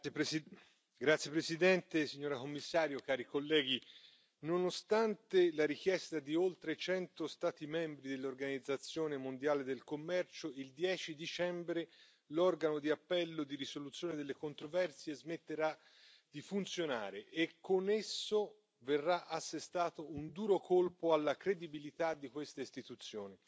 Signora Presidente, onorevoli colleghi, signora Commissario, nonostante la richiesta di oltre 100 Stati membri dell'Organizzazione mondiale del commercio, il 10 dicembre l'Organo di appello di risoluzione delle controversie smetterà di funzionare e, con esso, verrà assestato un duro colpo alla credibilità di queste istituzioni.